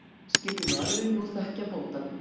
Skyldi maðurinn nú þekkja bóndann?